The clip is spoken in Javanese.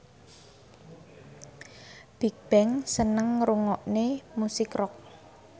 Bigbang seneng ngrungokne musik rock